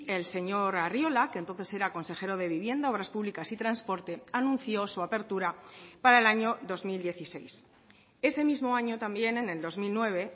el señor arriola que entonces era consejero de vivienda obras públicas y transporte anunció su apertura para el año dos mil dieciséis ese mismo año también en el dos mil nueve